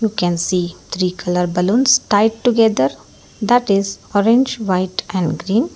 you can see three colour balloons tied together that is orange white and green.